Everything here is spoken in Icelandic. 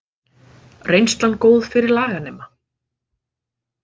Reynslan góð fyrir laganema